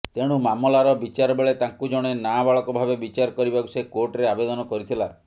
ତେଣୁ ମାମଲାର ବିଚାର ବେଳେ ତାଙ୍କୁ ଜଣେ ନାବାଳକ ଭାବେ ବିଚାର କରିବାକୁ ସେ କୋର୍ଟରେ ଆବେଦନ କରିଥିଲା